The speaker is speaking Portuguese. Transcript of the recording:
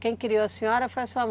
Quem criou a senhora foi a sua